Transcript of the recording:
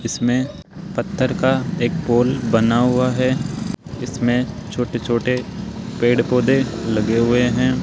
इसमें पत्थर का एक पोल बना हुआ है इसमें छोटे छोटे पेड़ पौधे लगे हुए हैं।